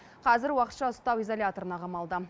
қазір уақытша ұстау изоляторына қамалды